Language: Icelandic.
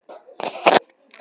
Vinjar, hver syngur þetta lag?